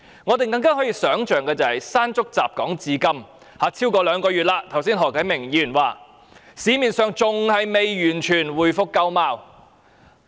我們更難想象，"山竹"襲港至今超過兩個月，市面好像何啟明議員剛才說的還未完全回復舊貌。